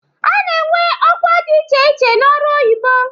A na-enwe ọkwa dị iche iche n'ọrụ oyibo.